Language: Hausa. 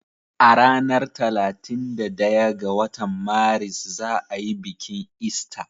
A ranar talatin da daya ga watan Maris za ayi bikin ista